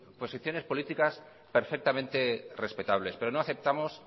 posiciones políticas perfectamente respetables pero no aceptamos